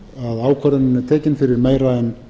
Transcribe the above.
ákvörðunin er tekin fyrir meira en